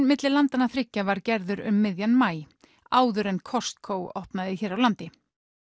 milli landanna þriggja var gerður um miðjan maí áður en Costco opnaði hér á landi